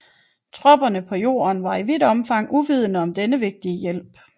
Tropperne på jorden var i vidt omfang uvidende om denne vigtige hjælp